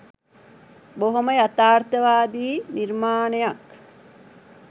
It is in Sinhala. බොහොම යථාර්තවාදි නිර්මාණයක්